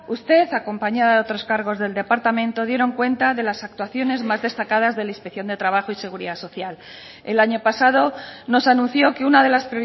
usted acompañada de otros cargos del departamento dieron cuenta de las actuaciones más destacadas de la inspección de trabajo y seguridad social el año pasado nos anunció que una de las